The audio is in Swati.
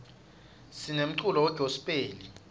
sinemculo we gospel